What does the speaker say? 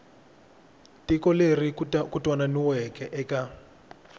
tiko leri ku twananiweke eka